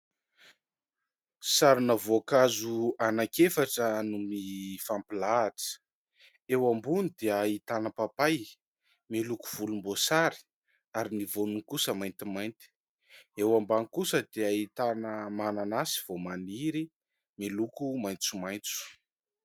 Sarina voankazo anankiefatra no mifampilahatra. Eo ambony dia ahitana papay miloko volomboasary, ary ny voany kosa maintimainty ; eo ambany kosa dia ahitana mananasy vao maniry miloko maitsomaitso.